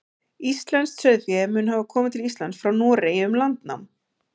íslenskt sauðfé mun hafa komið til íslands frá noregi um landnám